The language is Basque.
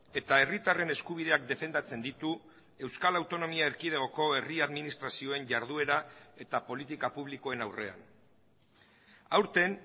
eta herritarren eskubideak defendatzen ditu euskal autonomia erkidegoko herri administrazioen jarduera eta politika publikoen aurrean aurten